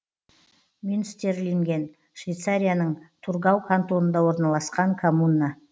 мюнстерлинген швейцарияның тургау кантонында орналасқан коммуна